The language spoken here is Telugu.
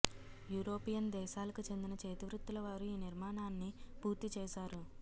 యూరోపియన్ దేశాలకు చెందిన చేతివృత్తుల వారు ఈ నిర్మాణాన్ని పూర్తి చేసారు